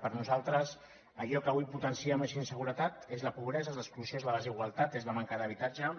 per nosaltres allò que avui potencia més inseguretat és la pobresa és l’exclusió és la desigualtat és la manca d’habitatge